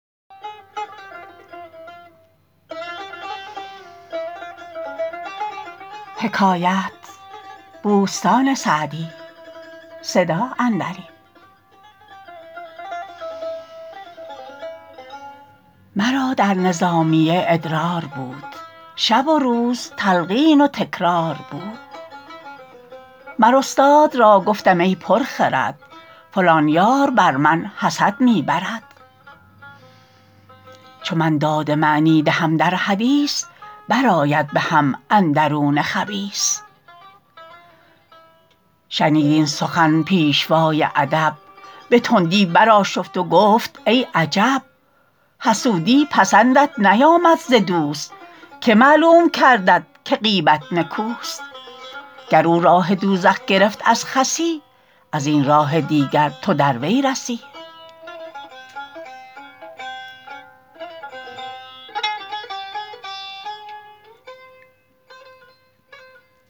مرا در نظامیه ادرار بود شب و روز تلقین و تکرار بود مر استاد را گفتم ای پر خرد فلان یار بر من حسد می برد چو من داد معنی دهم در حدیث بر آید به هم اندرون خبیث شنید این سخن پیشوای ادب به تندی برآشفت و گفت ای عجب حسودی پسندت نیامد ز دوست که معلوم کردت که غیبت نکوست گر او راه دوزخ گرفت از خسی از این راه دیگر تو در وی رسی